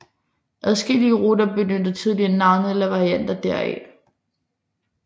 Adskillige ruter benyttede tidligere navnet eller varianter deraf